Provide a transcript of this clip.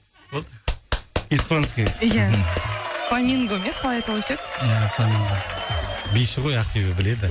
болды испанский ия фламинго ма еді қалай аталушы еді ия фламинго биші ғой ақбибі біледі